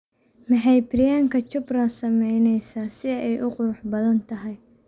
maxay priyanka chopra samaynaysaa si ay u qurux badan tahay